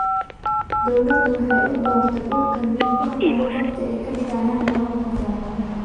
Dawladdu waxay u dooratay dhulkan mid ku habboon goobta ay kadiigayan Garoonka Diyaaradaha.